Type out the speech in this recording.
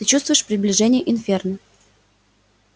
ты чувствуешь приближение инферно